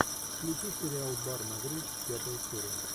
включи сериал бар на грудь пятая серия